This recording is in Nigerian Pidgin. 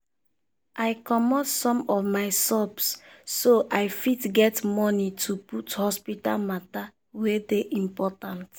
i comot some of my subs so i fit get money to put hospital matter wey dey important.